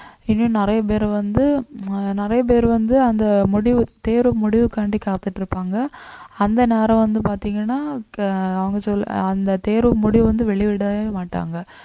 இன்னும் நிறைய பேர் வந்து அஹ் நிறைய பேர் வந்து அந்த முடிவு தேர்வு முடிவுக்காண்டி காத்துட்டு இருப்பாங்க அந்த நேரம் வந்து பார்த்தீங்கன்னா த~ அவுங்க சொல் ~அந்த தேர்வு முடிவு வந்து வெளிவிடவே மாட்டாங்க